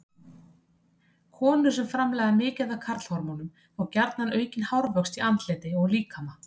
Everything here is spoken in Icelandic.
Konur sem framleiða mikið af karlhormónum fá gjarna aukinn hárvöxt í andliti og á líkama.